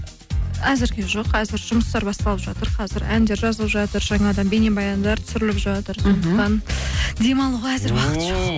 әзірге жоқ әзір жұмыстар басталып жатыр қазір әндер жазылып жатыр жаңадан бейнебаяндар түсіріліп жатыр демалуға